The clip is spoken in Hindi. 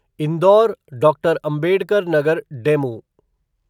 Indore doctor Ambedkar Nagar DEMU